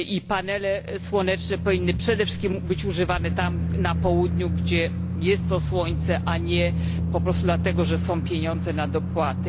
Panele słoneczne powinny przede wszystkim być używane na Południu, gdzie jest słońce, a nie po prostu dlatego, że są pieniądze na dopłaty.